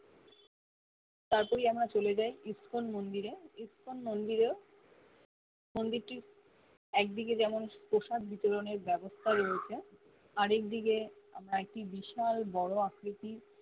তার পরে আমরা চলে যায় স্পন মন্দিরে স্পন মন্দিরেও মন্দিরটির একদিকে যেমন প্রসাদ বিতরণের ব্যবস্থা রয়েছে আরেক দিকে আমার কে বিশাল বড় আকৃতির